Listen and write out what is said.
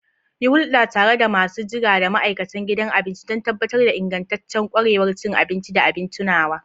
Yi hulɗa tare da masu jira da ma'aikatan gidan abinci don tabbatar da ingantaccen ƙwarewar cin abinci da abin tunawa.